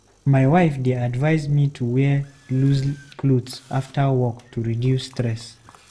My wife dey advise me to wear loose clothes after work to reduce stress.